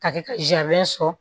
Ka kɛ ka sɔrɔ